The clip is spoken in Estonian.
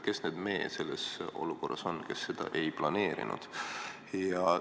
Kes need "me" selles olukorras on, kes seda ei planeerinud?